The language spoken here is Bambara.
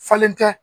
Falen tɛ